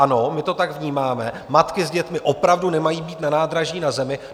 Ano, my to tak vnímáme, matky s dětmi opravdu nemají být na nádraží na zemi.